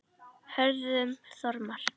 Hörður Þormar.